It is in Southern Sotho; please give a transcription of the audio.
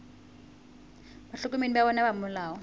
bahlokomedi ba bona ba molao